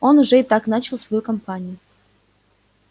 он уже и так начал свою кампанию